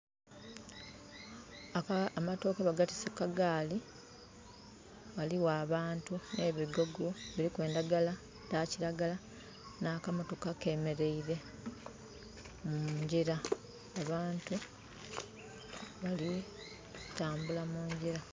Amatooke bagatiise ku kagaali. Ghaligho abantu nh'ebigogo, biliku endhagala dha kiragala. Nh'akamotoka kemeleire mungyira. Abantu bali kutambula mungyira.